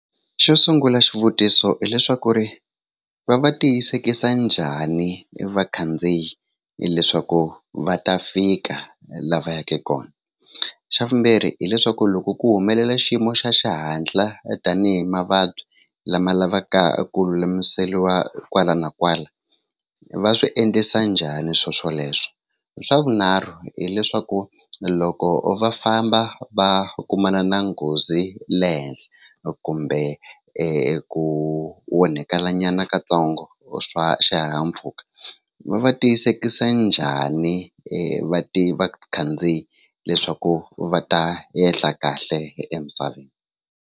Xo sungula xivutiso i leswaku ri va va tiyisekisa njhani vakhandziyi hileswaku va ta fika laha va yaka kona xa vumbirhi hileswaku loko ku humelela xiyimo xa xihatla tanihi mavabyi lama lavaka ku lulamiseriwa kwala na kwala va swi endlisa njhani swo swoleswo xa vunharhu hileswaku loko va famba va kumana na nghozi le henhla kumbe ku onhakelanyana ka ntsongo swa xihahampfhuka va va tiyisekisa njhani va ti vakhandziyi leswaku va ta ehla kahle emisaveni.